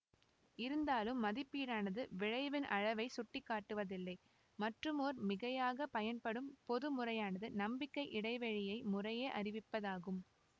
இருந்தாலும் மதிப்பீடானது விளைவின் அளவை சுட்டிக்காட்டுவதில்லை மற்றுமோர் மிகையாக பயன்படும் பொது முறையானது நம்பிக்கை இடைவெளி யை முறையே அறிவிப்பதாகும்